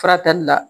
Furakɛli la